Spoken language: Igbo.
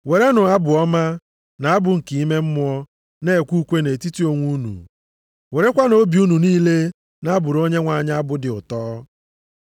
werenụ abụ ọma, na abụ nke ime mmụọ na-ekwe ukwe nʼetiti onwe unu. Werekwanụ obi unu niile na-abụrụ Onyenwe anyị abụ dị ụtọ.